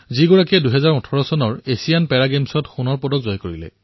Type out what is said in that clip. তেওঁ ২০১৮ চনৰ Asian para গেমছত দেশৰ হৈ এথলীট শাখাত সোণৰ পদক জয় কৰিছে